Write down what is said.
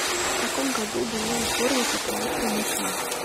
в каком году была реформа патриарха никона